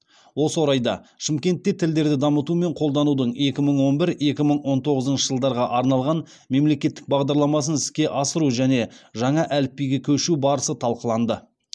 осы орайда шымкентте тілдерді дамыту мен қолданудың екі мың он бір екі мың он тоғызыншы жылдарға арналған мемлекеттік бағдарламасын іске асыру және жаңа әліпбиге көшу барысы талқыланды